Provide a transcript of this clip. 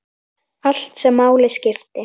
Allt sem máli skipti.